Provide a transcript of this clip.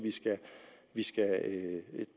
vi skal